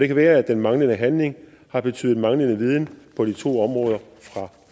kan være at den manglende handling har betydet manglende viden på de to områder fra